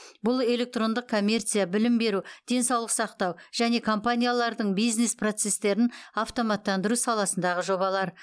бұл электрондық коммерция білім беру денсаулық сақтау және компаниялардың бизнес процестерін автоматтандыру саласындағы жобалар